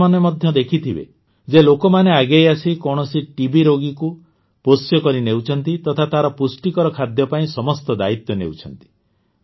ଆପଣ ମଧ୍ୟ ଦେଖିଥିବେ ଯେ ଲୋକମାନେ ଆଗେଇଆସି କୌଣସି ଟିବି ରୋଗୀକୁ ପୋଷ୍ୟ କରିନେଉଛନ୍ତି ତଥା ତାର ପୁଷ୍ଟିକର ଖାଦ୍ୟ ପାଇଁ ସମସ୍ତ ଦାୟିତ୍ୱ ନେଉଛନ୍ତି